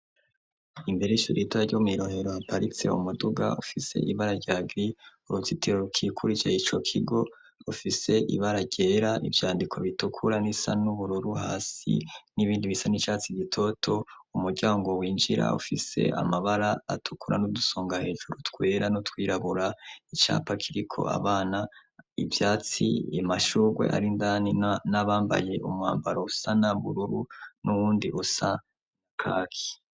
Imbere ishurita ryu mw'irohero aparitse wu muduga ofise ibararyagi urutsitiro rkikurije ico kigo ofise ibararyera ivyandiko bitukura n'isa n'uburoru hasi n'ibindi bisa n'icatsi gitoto umuryango winjira ofise amabara atukura n'udusonga hejuru twera no twirabura icapakiriko abana ivyatsi imashurwe arindani n'abambaye umwambaro usa na bururu n'uwundi usa nakaki.